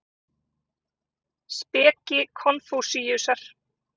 Speki Konfúsíusar.